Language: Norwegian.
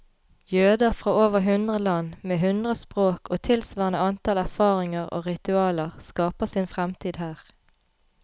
Jøder fra over hundre land, med hundre språk og tilsvarende antall erfaringer og ritualer, skaper sin fremtid her.